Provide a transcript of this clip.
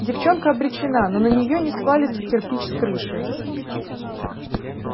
девчонка обречена но на нее не свалится кирпич с крыши